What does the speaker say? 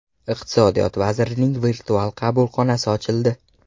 Iqtisodiyot vazirining virtual qabulxonasi ochildi.